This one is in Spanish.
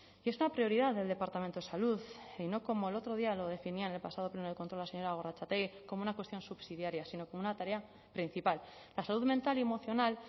y es una prioridad del departamento de salud y no como el otro día lo definía en el pasado pleno de control la señora gorrotxategi como una cuestión subsidiaria sino como una tarea principal la salud mental y emocional